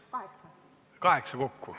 Kaheksa minutit kokku.